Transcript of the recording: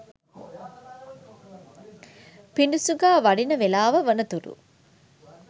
පිඩුසිඟා වඩින වේලාව වනතුරු